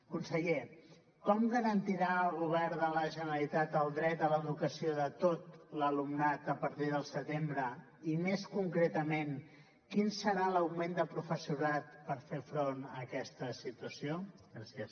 conseller com garantirà el govern de la generalitat el dret a l’educació de tot l’alumnat a partir del setembre i més concretament quin serà l’augment de professorat per fer front a aquesta situació gràcies